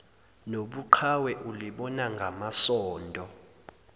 nobuqhawe ulibona ngamasondo